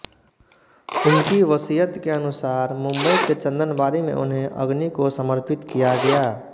उनकी वसीयत के अनुसार मुंबई के चन्दनबाड़ी में उन्हें अग्नि को समर्पित किया गया